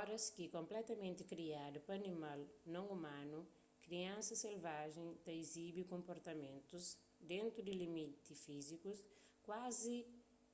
oras ki konpletamenti kriadu pa animal non umanu kriansa selvajen ta izibi konportamentus dentu di limiti fízikus kuazi